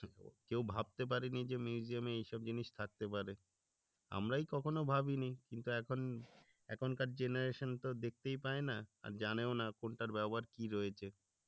কেউ ভাবতে পারেনি যে museum এ এইসব জিনিস থাকতে পারে। আমরাই কখনো ভাবিনি কিন্তু এখন এখনকার generation তো দেখতেই পায়না আর জানেও না কোনটার ব্যবহার কি রয়েছে?